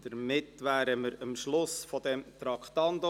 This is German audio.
Damit sind wir am Schluss des Traktandums 42 angelangt.